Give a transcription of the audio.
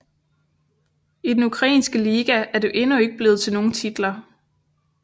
I den ukrainske liga er det endnu ikke blevet til nogen titler